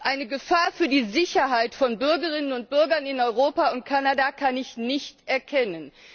Eine Gefahr für die Sicherheit von Bürgerinnen und Bürgern in Europa und Kanada kann ich nicht erkennen.